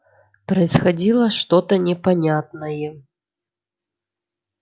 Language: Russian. происходило что то непонятное